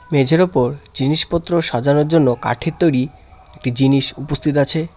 মেঝের ওপর জিনিসপত্র সাজানোর জন্য কাঠের তৈরি একটি জিনিস উপস্থিত আছে।